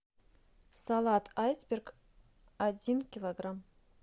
салат айсберг один килограмм